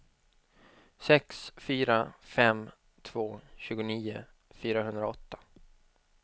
sex fyra fem två tjugonio fyrahundraåtta